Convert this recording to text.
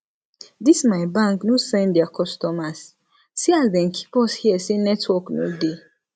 dis my bank no send there customers see as dem keep us here sey network no dey